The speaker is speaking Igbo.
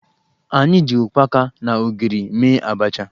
Anyị ji ukpaka na ogiri mee abacha